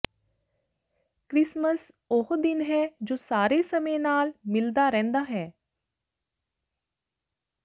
Christmas ਉਹ ਦਿਨ ਹੈ ਜੋ ਸਾਰੇ ਸਮੇਂ ਨਾਲ ਮਿਲਦਾ ਰਹਿੰਦਾ ਹੈ